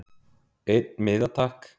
Einn miða takk